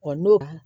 n'o